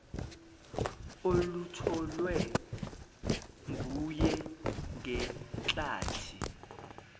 olutholwe nguye ngenklathi